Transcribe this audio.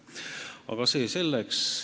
Aga see selleks.